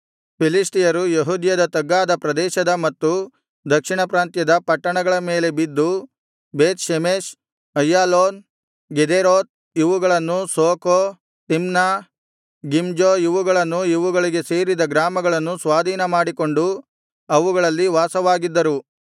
ಫಿಲಿಷ್ಟಿಯರು ಯೆಹೂದದ ತಗ್ಗಾದ ಪ್ರದೇಶದ ಮತ್ತು ದಕ್ಷಿಣಪ್ರಾಂತ್ಯದ ಪಟ್ಟಣಗಳ ಮೇಲೆ ಬಿದ್ದು ಬೇತ್‌ಷೆಮೆಷ್‌ ಅಯ್ಯಾಲೋನ್ ಗೆದೇರೋತ್ ಇವುಗಳನ್ನೂ ಸೋಕೋ ತಿಮ್ನಾ ಗಿಮ್ಜೋ ಇವುಗಳನ್ನೂ ಇವುಗಳಿಗೆ ಸೇರಿದ ಗ್ರಾಮಗಳನ್ನೂ ಸ್ವಾಧೀನಮಾಡಿಕೊಂಡು ಅವುಗಳಲ್ಲಿ ವಾಸವಾಗಿದ್ದರು